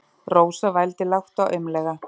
Rósa vældi lágt og aumlega.